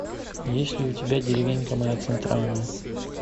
есть ли у тебя деревенька моя центральная